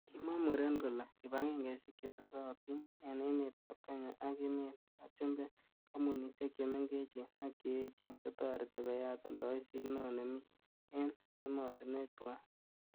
Kimwa muren kole,''kibagengeishiek chetesotin en emetab Kenya ak emetab chumbek, kompunisiek che mengechen ak che echen, kotoreti koyat oldoisiet neo nemi en emotinwek tuan.''